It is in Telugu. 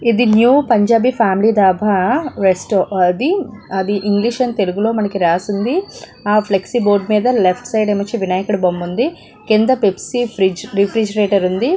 ఇది new Punjabi family dhaba next అది అది ఇంగ్లీష్ అండ్ తెలుగులో రాసి ఉంది ఆ ఫ్లెక్సీ బోర్డు మీద లెఫ్ట్ సైడ్ ఏమో వచ్చి వినాయకుని బొమ్మ ఉంది కింద పెప్సీ ఫ్రిడ్జ్ రిఫ్రిజిరేటర్ ఉంది.